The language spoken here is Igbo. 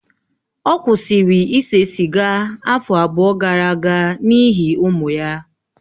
Ọ kwụsịrị ise sịga afọ abụọ gara aga n'ihi ụmụ ya